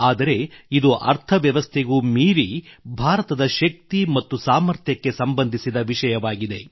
ಆದರೆ ಇದು ಅರ್ಥವ್ಯವಸ್ಥೆಗೂ ಮೀರಿ ಭಾರತದ ಶಕ್ತಿ ಮತ್ತು ಸಾಮರ್ಥ್ಯಕ್ಕೆ ಸಂಬಂಧಿಸಿದ ವಿಷಯವಾಗಿದೆ